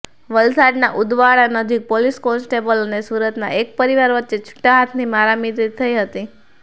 વલસાડના ઉદવાડા નજીક police constable અને સુરતના એક પરિવાર વચ્ચે છુટ્ટા હાથની મારામારી થઈ હતી